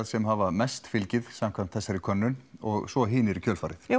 sem hafa mest fylgið samkvæmt þessari könnun og svo hinir í kjölfarið